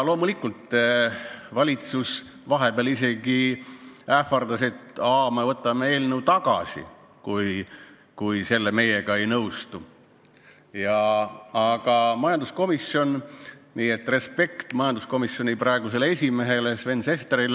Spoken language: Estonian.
Loomulikult, valitsus vahepeal isegi ähvardas, et võtab eelnõu tagasi, kui me temaga ei nõustu, aga majanduskomisjon – respekt majanduskomisjoni esimehe Sven Sesteri ees!